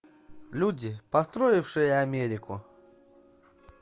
люди построившие америку